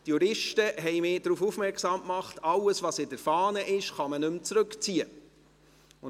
Die Juristen haben mich darauf aufmerksam gemacht, dass, was in der Gesetzesfahne steht, nicht zurückgezogen werden kann.